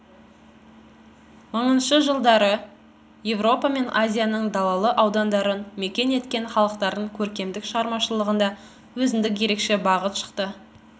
мыңыншы жылдары еуропа мен азияның далалы аудандарын мекен еткен халықтардың көркемдік шығармашылығында өзіндік ерекше бағыт шықты